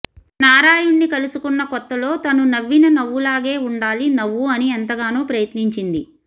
నారాయుణ్ణి కలుసుకున్న కొత్తలో తను నవ్విన నవ్వులాగే ఉండాలి నవ్వు అని ఎంతగానో ప్రయత్నించింది